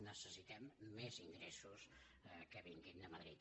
necessitem més ingressos que vinguin de madrid